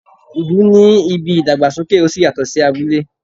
ìlú ní ìbí ìdàgbàsókè oṣí yatọ sí abúlé.